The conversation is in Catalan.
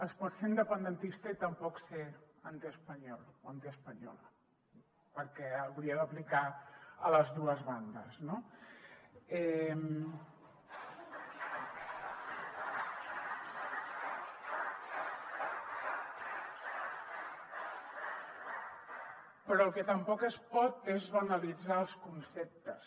es pot ser independentista i tampoc ser antiespanyol o antiespanyola perquè hauria d’aplicar a les dues bandes no però el que tampoc es pot fer és banalitzar els conceptes